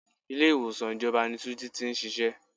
Ilé ìwòsàn ìjọba ni túnjí tí ń ṣíṣe.